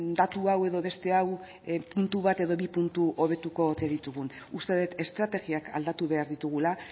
datu hau edo beste hau puntu bat edo bi puntu hobetuko ote ditugun uste dut estrategiak aldatu behar ditugula